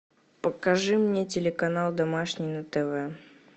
покажи мне телеканал домашний на тв